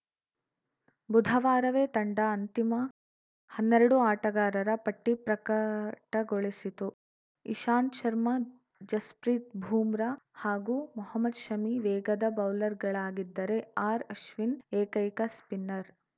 ಬುಧವಾರವೇ ತಂಡ ಅಂತಿಮ ಹನ್ನೆರಡು ಆಟಗಾರರ ಪಟ್ಟಿಪ್ರಕಟಗೊಳಿಸಿತು ಇಶಾಂತ್‌ ಶರ್ಮಾ ಜಸ್‌ಪ್ರೀತ್‌ ಬೂಮ್ರಾ ಹಾಗೂ ಮೊಹಮದ್‌ ಶಮಿ ವೇಗದ ಬೌಲರ್‌ಗಳಾಗಿದ್ದರೆ ಆರ್‌ಅಶ್ವಿನ್‌ ಏಕೈಕ ಸ್ಪಿನ್ನರ್‌